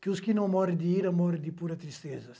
Que os que não morem de ira, morem de pura tristeza.